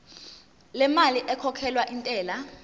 lemali ekhokhelwa intela